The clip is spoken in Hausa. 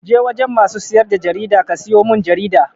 Je wajen masu siyar da jarida ka siyo mun jarida!